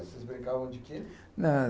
Vocês brincavam de quê?h...